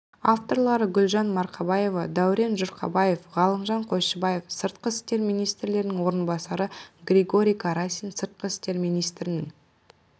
авторлары гүлжан марқабаева дәурен жұрқабаев ғалымжан қойшыбаев сыртқы істер министрінің орынбасары григорий карасин сыртқы істер министрінің